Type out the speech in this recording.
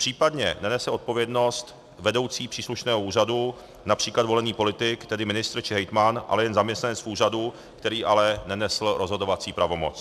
Případně nenese odpovědnost vedoucí příslušného úřadu, například volený politik, tedy ministr či hejtman, ale jen zaměstnanec úřadu, který ale nenesl rozhodovací pravomoc.